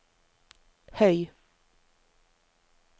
høy